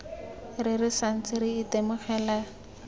re re santse re itemogela